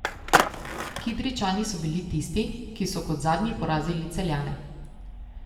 Kidričani so bili tisti, ki so kot zadnji porazili Celjane.